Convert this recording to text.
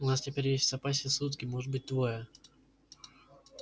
у нас теперь есть в запасе сутки может быть двое